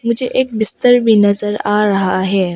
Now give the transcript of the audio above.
पीछे एक बिस्तर भी नजर आ रहा है।